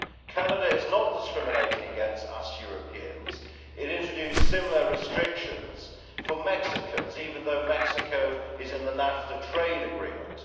Canada is not discriminating against us Europeans it introduced similar restrictions for Mexicans, even though Mexico is in the North American Free Trade Agreement.